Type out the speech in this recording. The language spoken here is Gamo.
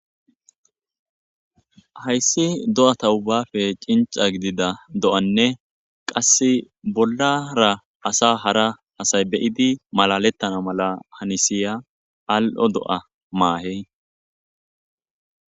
hayssi do7ata ubbape cinca gidida do7anne qassi bollara asa hara asay be7idi malalettana mala hanisiya al7o do7a maahey